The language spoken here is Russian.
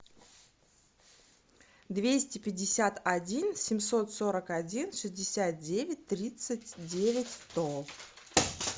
двести пятьдесят один семьсот сорок один шестьдесят девять тридцать девять сто